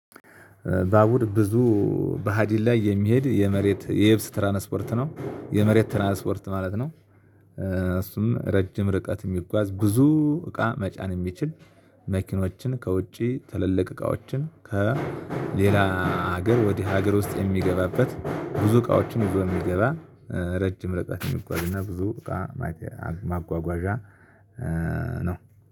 በአቡር ብዙ በሀዲን ላይ የሚሄድ የመሬት የየብስ ትራንስፖርት ነው የመሬት ትራንስፖርት ማለት ነው። እሱም ረጅም ርቀት የሚጓዝ ብዙ እቃ መጫን የሚችል። መኪኖችን ከውጪ ትልልቅ እቃዎችን ከሌላ ሀገር ወደ ሀገር ውስጥ የሚገባበት ብዙ እቃዎችን ይዞ የሚገባ። ረጅም ለጥቃት የሚጓዝ እና ብዙ እቃ ማጓጓዣ ነው